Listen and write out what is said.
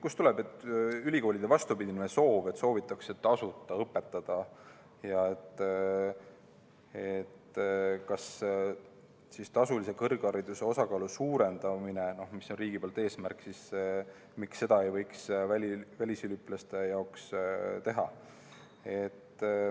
Kust tuleb ülikoolide vastupidine soov, et soovitakse tasuta õpetada, ja kas tasulise kõrghariduse osakaalu suurendamist, mis on riigi eesmärk, ei võiks välisüliõpilaste puhul teha?